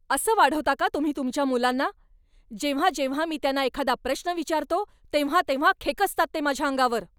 असं वाढवता का तुम्ही तुमच्या मुलांना? जेव्हा जेव्हा मी त्यांना एखादा प्रश्न विचारतो, तेव्हा तेव्हा खेकसतात ते माझ्या अंगावर.